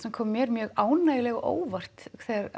sem kom mér mér ánægjulega á óvart